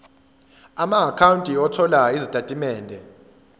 amaakhawunti othola izitatimende